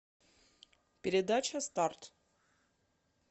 передача старт